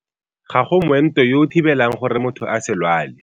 Ga go moento yo o thibelang gore motho a se lwale.